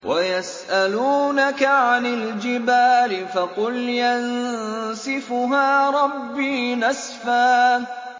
وَيَسْأَلُونَكَ عَنِ الْجِبَالِ فَقُلْ يَنسِفُهَا رَبِّي نَسْفًا